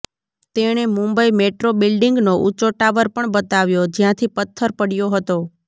તેણે મુંબઈ મેટ્રો બિલ્ડિંગનો ઉંચો ટાવર પણ બતાવ્યો જ્યાંથી પત્થર પડ્યો હતો